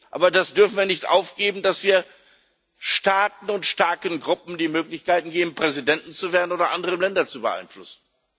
Aber das dürfen wir nicht aufgeben, dass wir Staaten und starken Gruppen die Möglichkeiten geben, Präsident zu werden oder andere Länder zu beeinflussen.